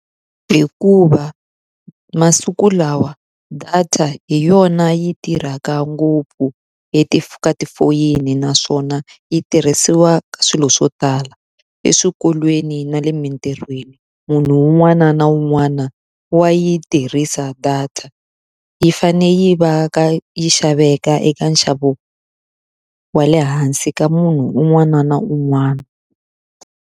Hikuva masiku lawa data hi yona yi tirhaka ngopfu, leti eka tifoyini naswona yi tirhisiwa ka swilo swo tala. Eswikolweni ni le tirhweni, munhu un'wana na un'wana wa yi tirhisa. Data yi fanele yi va ka yi xaveka eka nxavo wa le hansi ka munhu un'wana na un'wana.